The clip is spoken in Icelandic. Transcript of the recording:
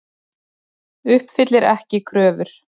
Uppfyllir ekki kröfur